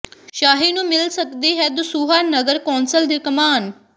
ਸ਼ਾਹੀ ਨੂੰ ਮਿਲ ਸਕਦੀ ਹੈ ਦਸੂਹਾ ਨਗਰ ਕੌਂਸਲ ਦੀ ਕਮਾਨ